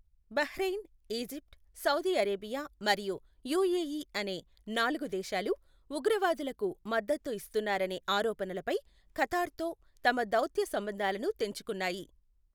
Bahrain, Egypt, Saudi Arabia మరియు UAE అనే నాలుగు దేశాలు 'ఉగ్రవాదులకు' మద్దతు ఇస్తున్నారనే ఆరోపణలపై ఖతార్తో తమ దౌత్య సంబంధాలను తెంచుకున్నాయి.